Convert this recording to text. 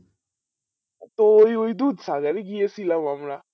তো ওই ওই ডুব সাগরে গিয়েছিলাম আমরা